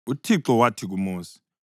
UThixo wathi kuMosi,